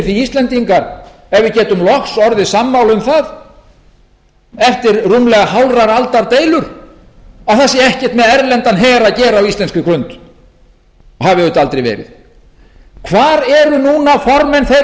ef við getum loks orðið sammála um það eftir rúmlega hálfrar aldar deilur að það sé ekkert með erlendan her að gera á íslenskri grund og hafi auðvitað aldrei verið hvar eru núna formenn þeirra stjórnmálaafla hverra forustumenn fyrir